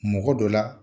Mɔgɔ dɔ la